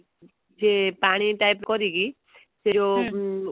ସେ ପାଣି type କରିକି ସେ ଯୋଉ